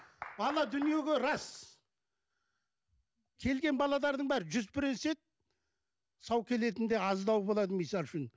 ана дүниеге рас келген балалардың бәрі жүз процент сау келетіні де аздау болады мысалы үшін